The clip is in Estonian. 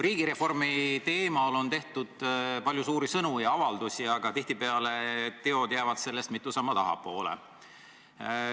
Riigireformi teemal on tehtud palju suuri sõnu ja avaldusi, aga tihtipeale jäävad teod sellest mitu sammu tahapoole.